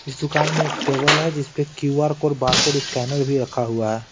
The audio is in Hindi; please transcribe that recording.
इस दुकान में एक टेबल है जिस पे QR code bar code scanner भी रखा हुआ है।